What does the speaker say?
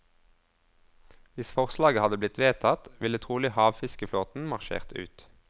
Hvis forslaget hadde blitt vedtatt, ville trolig havfiskeflåten marsjert ut.